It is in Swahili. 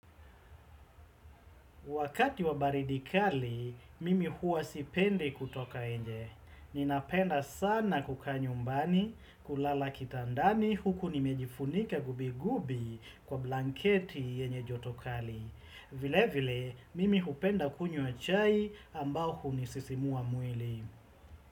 Wakati wa baridi kali, mimi huwa sipendi kutoka inje. Ninapenda sana kukaa nyumbani, kulala kitandani huku nimejifunika gubi gubi kwa blanketi yenye joto kali. Vile vile, mimi hupenda kunywa chai ambao unisisimua mwili.